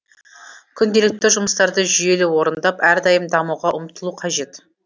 күнделікті жұмыстарды жүйелі орындап әрдайым дамуға ұмтылу қажет